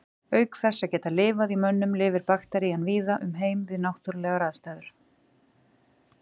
Auk þess að geta lifað í mönnum lifir bakterían víða um heim við náttúrulegar aðstæður.